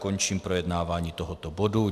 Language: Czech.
Končím projednávání tohoto bodu.